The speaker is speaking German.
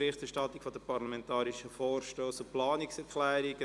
Berichterstattung zu den parlamentarischen Vorstössen und Planungserklärungen.